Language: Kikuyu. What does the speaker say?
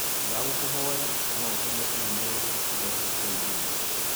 Ndagũkũhoya no ũtũme i-mīrū njerũ kũrĩ Njuma?